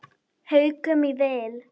Haukum í vil.